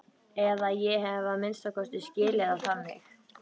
Eða ég hef að minnsta kosti skilið það þannig.